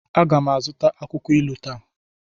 A ga m azụta akwukwo ilu taa.